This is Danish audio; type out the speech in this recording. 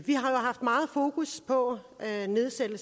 har haft meget fokus på at nedsætte